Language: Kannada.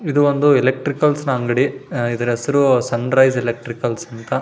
ಇದು ಒಂದು ಎಲೆಕ್ಟ್ರಿಕಲ್ಸ್ ಅಂಗಡಿ ಇದರ ಹೆಸರು ಸನ್ರೈಸ್ ಎಲೆಕ್ಟ್ರಿಕಲ್ಸ್ ಅಂತ --